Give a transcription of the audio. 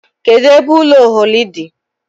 Kedụ ebe ụlọ Ocholi dị?